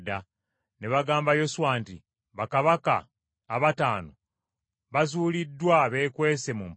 Ne bagamba Yoswa nti, “Bakabaka abataano bazuuliddwa, beekwese mu mpuku.”